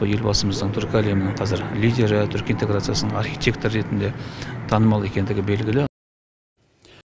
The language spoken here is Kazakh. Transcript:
елбасымыздың түркі әлемінің қазір лидері түркі интеграциясының архитекторы ретінде танымал екендігі белгілі